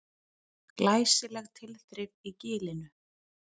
Glæsileg tilþrif í Gilinu